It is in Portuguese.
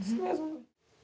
Isso mesmo.